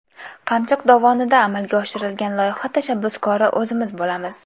Qamchiq dovonida amalga oshirilgan loyiha tashabbuskori o‘zimiz bo‘lamiz.